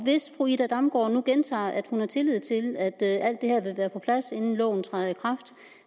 hvis fru ida damborg nu gentager at hun har tillid til at alt det her vil være på plads inden loven træder i kraft